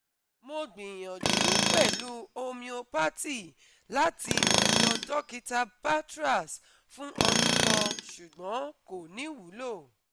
Mo gbinyanju pelu Homeopathy lati odo dokita Batra's fun odun kan, sugbon ko ni wulo